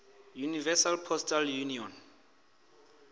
universal postal union